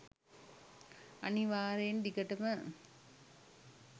අනිවාර්යයෙන්ම දිගටම